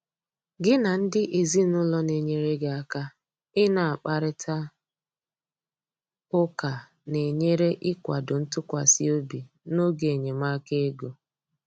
gị na ndị ezinụlọ na enyere gị aka ị na akparita ụka na enyere ikwado ntụkwasị obi n'oge enyemaka ego